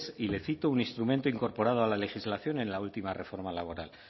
y le cito un instrumento incorporado a la legislación en la última reforma laboral